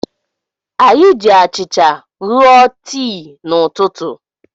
Anyị ji achịcha ṅụọ tii n'ụtụtụ.